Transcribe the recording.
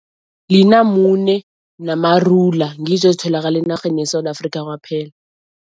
Linamune namarula, ngizo ezitholakala enarheni yeSewula Afrika kwaphela.